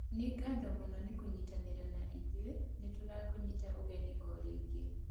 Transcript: Nĩ ngatho mũno nĩ kũnyitanĩra na ithuĩ, nĩ tũrakũnyita ũgeni o rĩngĩ!